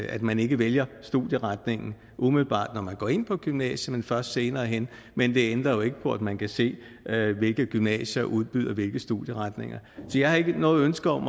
at man ikke vælger studieretning umiddelbart når man går ind på gymnasiet men først senere hen men det ændrer jo ikke på at man kan se hvilke gymnasier der udbyder hvilke studieretninger jeg har ikke noget ønske om